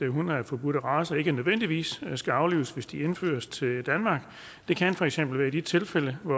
hunde af forbudte racer ikke nødvendigvis skal aflives hvis de indføres til danmark det kan for eksempel være i de tilfælde hvor